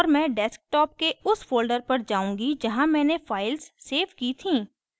और मैं desktop के उस folder पर जाउंगी जहाँ मैंने files सेव की थीं